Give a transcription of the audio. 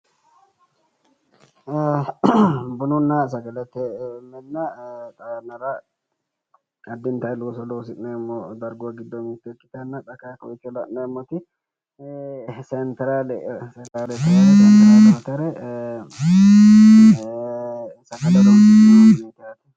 bununna sagalete minna xaa yannara looso loosi'neemmo dargooti giddo mitte ikkitanna xa kayi koye la'neemmoti senterali hotele ee sagale horonsineemmo mineeti yaate.